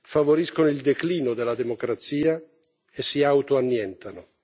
favoriscono il declino della democrazia e si autoannientano.